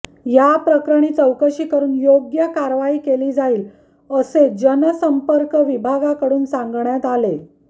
याप्रकरणी चौकशी करून योग्य कारवाई केली जाईल असे जनसंपर्क विभागाकडून सांगण्यात आले